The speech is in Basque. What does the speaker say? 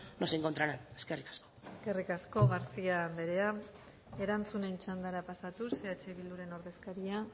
nos encontrarán eskerrik asko eskerrik asko garcía anderea erantzunen txandara pasatuz eh bilduren ordezkaria